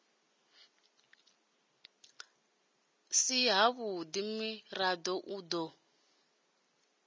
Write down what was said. si havhudi murado u do